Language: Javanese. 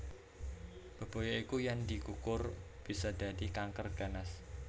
Bebaya iku yen dikukur bisa dadi kanker ganas